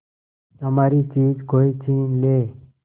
हमारी चीज कोई छीन ले